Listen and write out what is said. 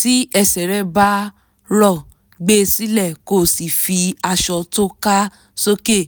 tí ẹsẹ̀ rẹ bá rọ gbé e sílẹ̀ kó o sì fi aṣọ tóká sókè